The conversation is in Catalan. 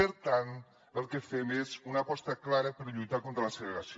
per tant el que fem és una aposta clara per lluitar contra la segregació